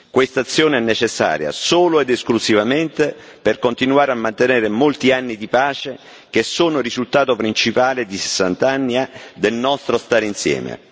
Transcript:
Questa azione è necessaria solo ed esclusivamente per continuare a mantenere molti anni di pace, che sono il risultato principale di 60 anni del nostro stare insieme.